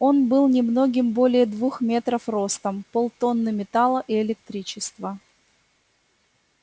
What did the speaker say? он был немногим более двух метров ростом полтонны металла и электричества